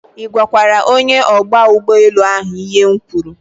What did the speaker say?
I gwakwara onye ogba ugboelu ahu ihe m kwuru